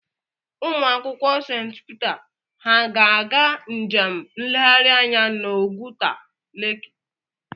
Ụmụakwụkwọ St Peter ha ga-aga njem nleghari anya n'Oguta leki?